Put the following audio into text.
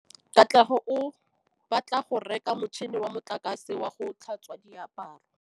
Katlego o batla go reka motšhine wa motlakase wa go tlhatswa diaparo.